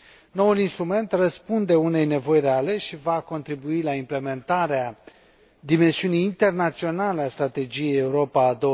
Noul instrument răspunde unei nevoi reale și va contribui la implementarea dimensiunii internaționale a Strategiei Europa